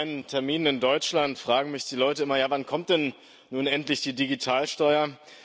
Bei meinen Terminen in Deutschland fragen mich die Leute immer Ja, wann kommt denn nun endlich die Digitalsteuer?